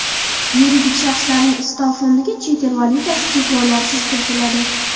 Yuridik shaxslarning ustav fondiga chet el valyutasi cheklovsiz kiritiladi.